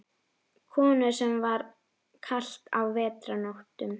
Konur, sem er kalt á vetrarnóttum.